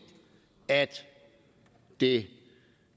det